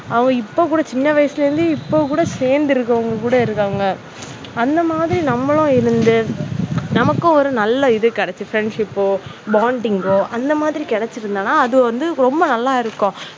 அவங்க இப்போ கூட சின்ன வயசுல இருந்து இப்போ கூடவோ சேர்ந்து இருக்கிறவங்க கூட இருக்காங்க. அந்த மாதிரி நம்மளும் இருந்து நமக்கும் ஒரு நல்ல இது கிடைச்சு friendship bonding அந்த மாதிரி கிடைச்சிருந்ததுன்னா, அது வந்து ரொம்ப நல்லா இருக்கு.